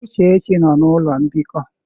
Uchechi nnọ n'ụlọ mbikọ.